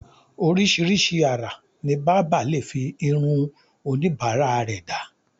oríṣiríṣi àrà ni bábà lè fi irun oníbàárà rẹ̀ dá